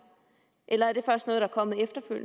eller